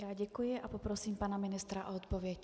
Já děkuji a poprosím pana ministra o odpověď.